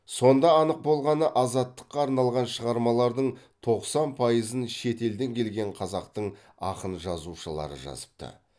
сонда анық болғаны азаттықа арналған шығармалардың тоқсан пайызын шет елден келген қазақтың ақын жазушылары жазыпты